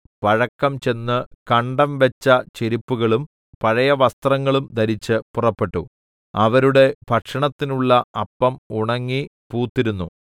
പഴക്കംചെന്ന് കണ്ടംവെച്ച ചെരിപ്പുകളും പഴയവസ്ത്രങ്ങളും ധരിച്ച് പുറപ്പെട്ടു അവരുടെ ഭക്ഷണത്തിനുള്ള അപ്പം ഉണങ്ങി പൂത്തിരുന്നു